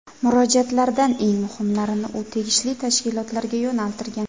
Murojaatlardan eng muhimlarini u tegishli tashkilotlarga yo‘naltirgan.